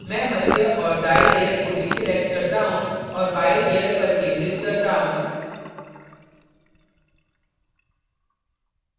मैं मध्य और दायीं layer को deselect करता हूँ और बायीं layer पर केन्द्रित करता हूँ